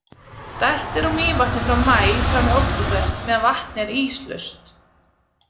Dælt er úr Mývatni frá maí fram í október meðan vatnið er íslaust.